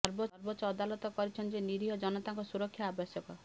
ସର୍ବୋଚ୍ଚ ଅଦାଲତ କରିଛନ୍ତି ଯେ ନିରୀହ ଜନତାଙ୍କ ସୁରକ୍ଷା ଆବଶ୍ୟକ